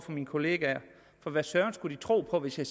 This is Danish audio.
for mine kollegaer for hvad søren skulle de tro på hvis jeg